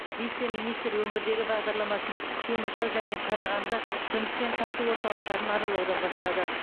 вице министр өңірдегі бағдарламасын теміртау және қарағанды жұмыспен қамту орталықтарын аралаудан бастады